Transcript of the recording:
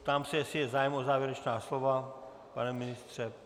Ptám se, jestli je zájem o závěrečná slova, pane ministře?